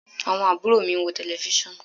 Àwọn àbúrò mi ń wo tẹlẹfísàn